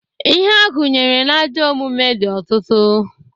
Ihe a gụnyere n'ajọ omume dị ọtụtụ.